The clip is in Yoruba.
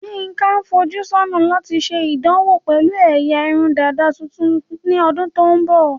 Yinka ń fojú sọ́nà láti ṣe ìdánwò pẹ̀lú ẹ̀yà irun dàda tuntun ní ọdún tó ń bọ̀.